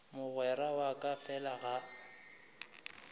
mogwera wa ka fela ga